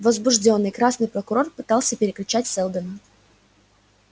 возбуждённый красный прокурор пытался перекричать сэлдона